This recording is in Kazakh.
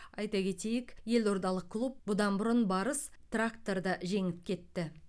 айта кетейік елордалық клуб бұдан бұрын барыс тракторды жеңіп кетті